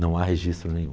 Não há registro nenhum.